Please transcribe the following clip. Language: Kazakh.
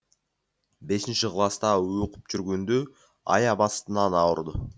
бесінші класта оқып жүргенде аяқ астынан ауырды